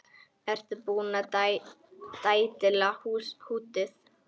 Ertu búinn að dælda húddið?